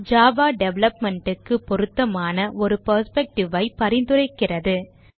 Java development க்கு பொருத்தமான ஒரு perspective ஐ பரிந்துரைக்கிறது